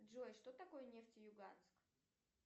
джой что такое нефтеюганск